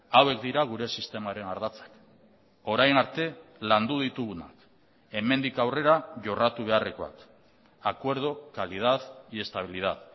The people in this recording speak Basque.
hauek dira gure sistemaren ardatzak orain arte landu ditugunak hemendik aurrera jorratu beharrekoak acuerdo calidad y estabilidad